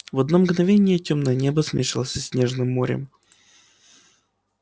в одно мгновение тёмное небо смешалось со снежным морем